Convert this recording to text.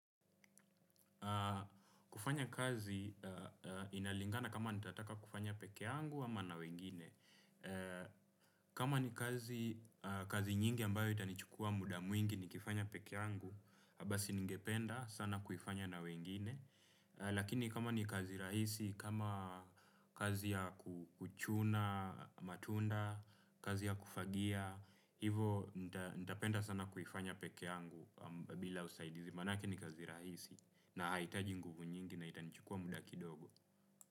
Kufanya kazi inalingana kama nitataka kufanya peke yangu ama na wengine. Kama ni kazi nyingi ambayo itanichukua muda mwingi nikifanya peke yangu, basi ningependa sana kiufanya na wengine. Lakini kama ni kazi rahisi, kama kazi ya kuchuna matunda, kazi ya kufagia, hivo nitapenda sana kufanya peke yangu bila usaidizi. Maanekr ni kazi rahisi na haihitaji nguvu nyingi na itanichukua muda kidogo.